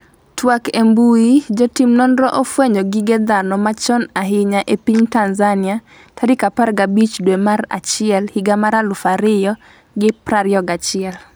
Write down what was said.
twak e mbui, Jotim nonro ofwenyo gige dhano machon ahinya e piny Tanzania tarik 15 dwe mar achiel higa mar 2021